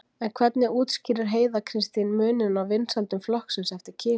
En hvernig útskýrir Heiða Kristín muninn á vinsældum flokksins eftir kyni?